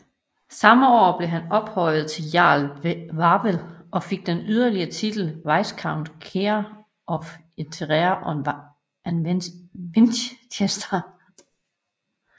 Samme år blev han ophøjet til Earl Wavell og fik den yderligere titel Viscount Keren of Eritrea and Winchester